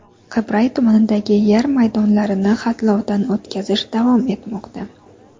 Qibray tumanidagi yer maydonlarni xatlovdan o‘tkazish davom etmoqda.